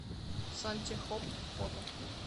сантехопт фото